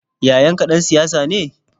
Yayanka ɗan siyasa ne?